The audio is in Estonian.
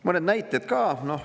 Mõned näited ka.